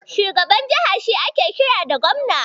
Shugaban jiha shi ake kira da Gobna.